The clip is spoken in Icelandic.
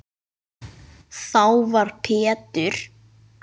Þá var Pétur